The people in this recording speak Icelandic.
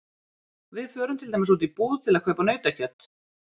Við förum til dæmis út í búð til að kaupa nautakjöt.